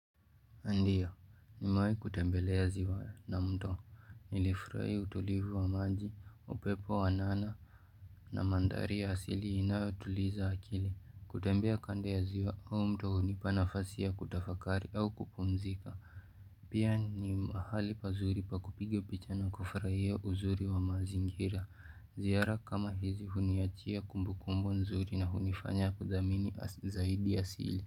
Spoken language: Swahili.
Ndio nimewai kutembelea ziwa na mto nilifurai utulivu wa maji upepo wanana na manthari ya asili inayotuliza akili kutembea kando ya ziwa au mto hunipa nafasi ya kutafakari au kupumzika Pia ni mahali pazuri pa kupiga picha na kufurahia uzuri wa mazingira ziara kama hizi huniachia kumbu kumbu nzuri na hunifanya kudhamini zaidi asili.